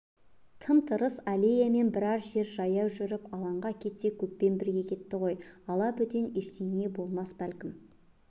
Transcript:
тым-тырыс аллеямен біраз жер жаяу жүріп алаңға кетсе көппен бірге кетті ғой алабөтен ештеңе болмас бәлкім